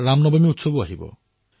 ৰামনৱমীৰ পৰ্বও আহিব